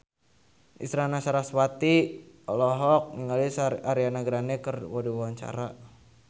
Isyana Sarasvati olohok ningali Ariana Grande keur diwawancara